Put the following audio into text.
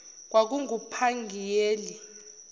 kwakungupangiyeli